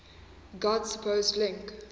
god's supposed link